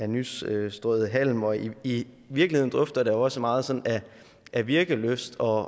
nystrøet halm og i virkeligheden dufter der også meget sådan af virkelyst og